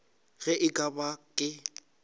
ge e ka ba ke